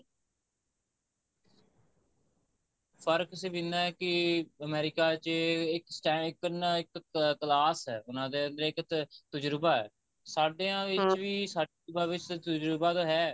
ਫਰਕ ਸਿਰਫ ਇੰਨਾ ਹੈ ਕਿ America ਵਿੱਚ ਇੱਕ stand ਇੱਕ ਨਾ ਇੱਕ class ਹੈ ਉਹਨਾ ਦੇ ਅੰਦਰ ਇੱਕ ਤਜੁਰਬਾ ਐ ਸਾਡੀਆਂ ਵਿੱਚ ਵੀ ਸਾਡੀਆਂ ਵਿੱਚ ਵੀ ਤਜੁਰਬਾ ਤਾਂ ਹੈ